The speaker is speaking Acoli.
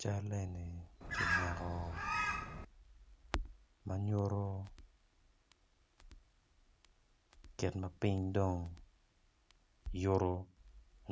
Cal eni kimako ma nyuto kit ma piny dong yuto